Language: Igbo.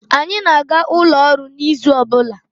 Anyị na-aga ụlọ ọrụ n'izu ọbụla.